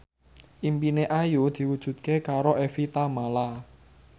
impine Ayu diwujudke karo Evie Tamala